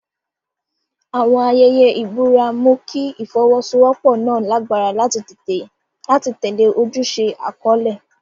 Àwọn ayẹyẹ ìbúra mú kí ìfọwọ́sowọ́pọ̀ náà lágbára láti tẹ̀lé ojúṣe àkọ́lé.